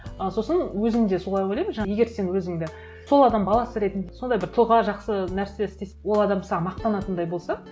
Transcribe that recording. ы сосын өзім де солай ойламын егер сен өзіңді сол адам баласы ретінде сондай бір тұлға жақсы нәрсе ол адам саған мақтанатындай болса